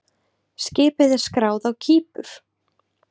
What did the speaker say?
Skipið er skráð á Kípur.